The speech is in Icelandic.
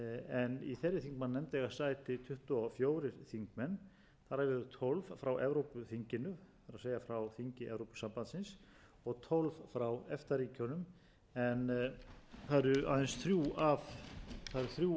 en í þeirri þingmannanefnd eiga sæti tuttugu og fjórir þingmenn þar af eru tólf frá evrópuþinginu það er frá þingi evrópusambandsins og tólf frá efta ríkjunum en það eru að þrjú af fjórum efta ríkjum sem eiga aðild að e